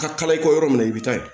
A ka kalan i kɔ yɔrɔ min na i bi taa ye